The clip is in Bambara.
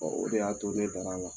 o de y'a to ne dar'a la.